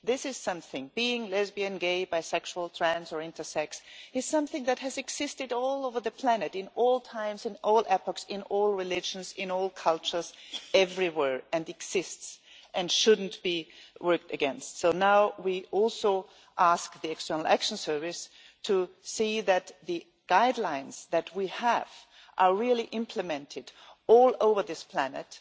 this is something being lesbian, gay, bisexual, trans or intersex that has existed all over the planet in all times and all epochs, in all religions, in all cultures everywhere, and exists and should not be worked against. So now we also ask the External Action Service to see that the guidelines that we have are really implemented all over this planet